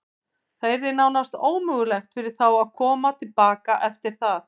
Það yrði nánast ómögulegt fyrir þá að koma til baka eftir það.